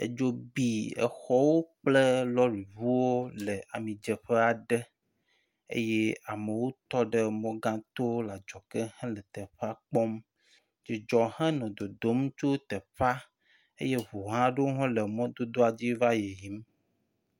Edzo bi exɔwo kple lɔriŋuwo le amidzeƒe aɖe eye amewo tɔ ɖe mɔ gãto le adzɔge hele teƒea kpɔm. Dzidzu hãnɔ dodom tso teƒa eye ŋu hã aɖewo hã le mɔdodoa dzi va le yiyim.